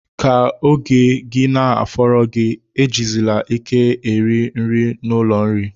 Ka ego gị na-afọrọ gi, ejizili ike eru nri n'ụlọ nri.